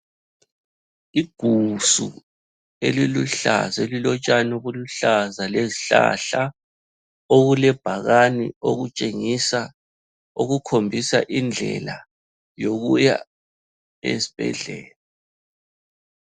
Igusu eliluhlaza, elilotshani obuluhlaza lezihlahla. Okulebhakane okutshengisa okukhombisa indlela yokuya esibhedlela.